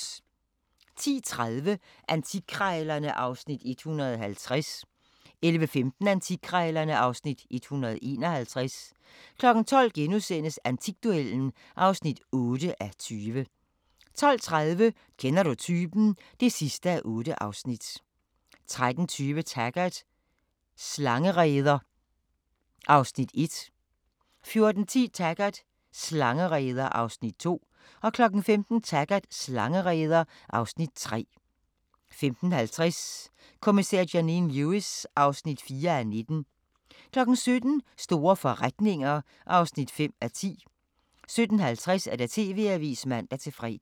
10:30: Antikkrejlerne (Afs. 150) 11:15: Antikkrejlerne (Afs. 151) 12:00: Antikduellen (8:20)* 12:30: Kender du typen? (8:8) 13:20: Taggart: Slangereder (Afs. 1) 14:10: Taggart: Slangereder (Afs. 2) 15:00: Taggart: Slangereder (Afs. 3) 15:50: Kommissær Janine Lewis (4:19) 17:00: Store forretninger (5:10) 17:50: TV-avisen (man-fre)